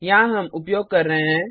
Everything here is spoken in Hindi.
यहाँ हम उपयोग कर रहे हैं